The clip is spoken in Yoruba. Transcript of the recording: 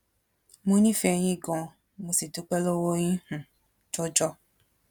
mo nífẹẹ yín gan-an mo sì dúpẹ lọwọ yín um jọjọ